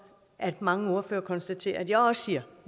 at mange ordførere konstaterer at jeg også siger